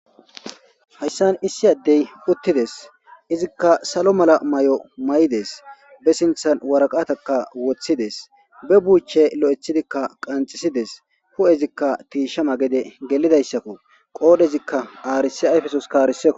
Hayssan issi addey uttides izikka salo mala may'o may'ides be sinthan waraqataka woththides be buuche lo'ethidikka qanxisides hu'ezikka tiishama gede gelidayssakko qoodhezikka aarisi ayfesos kaarisekko.